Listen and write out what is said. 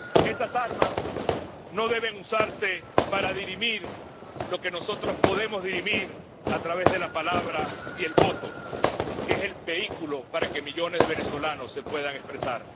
Esas armas no deben usarse para resolver lo que podemos dirimir a través de la palabra y el voto, que es el vehículo para que millones de venezolanos se puedan expresar.